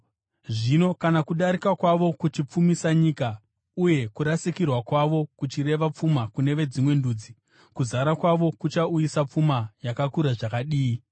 Zvino kana kudarika kwavo kuchipfumisa nyika, uye kurasikirwa kwavo kuchireva pfuma kune veDzimwe Ndudzi, kuzara kwavo kuchauyisa pfuma yakakura zvakadii!